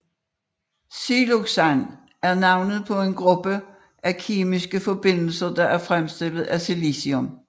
Siloxan er navnet på en gruppe af kemiske forbindelser der er fremstillet af silicium